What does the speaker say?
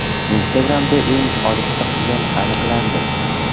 Instagram’da eng olifta quyon aniqlandi.